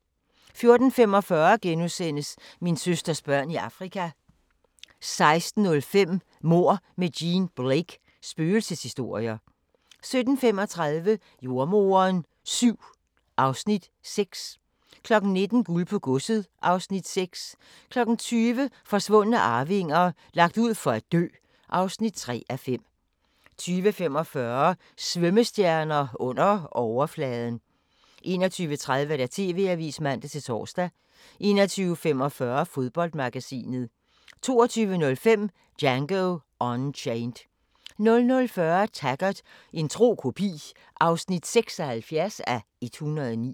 14:45: Min søsters børn i Afrika * 16:05: Mord med Jean Blake: Spøgelseshistorier 17:35: Jordemoderen VII (Afs. 6) 19:00: Guld på godset (Afs. 6) 20:00: Forsvundne arvinger: Lagt ud for at dø (3:5) 20:45: Svømmestjerner – under overfladen 21:30: TV-avisen (man-tor) 21:45: Fodboldmagasinet 22:05: Django Unchained 00:40: Taggart: En tro kopi (76:109)